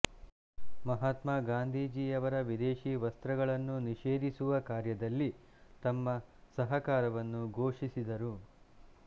ಮಹಾತ್ಮ ಗಾಂಧೀಜಿಯವರ ವಿದೇಶಿ ವಸ್ತ್ರಗಳನ್ನು ನಿಷೇಧಿಸುವ ಕಾರ್ಯದಲ್ಲಿ ತಮ್ಮ ಸಹಕಾರವನ್ನು ಘೋಷಿಸಿದರು